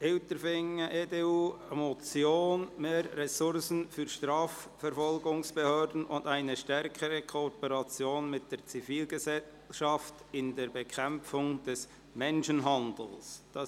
«Mehr Ressourcen fü r Strafverfolgungsbehö rden und eine stä rkere Kooperation mit der Zivilgesellschaft in der Bekä mpfung des Menschenhandels [